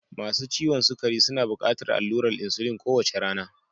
Masu ciwon sukari suna buƙatar allurar insulin kowace rana.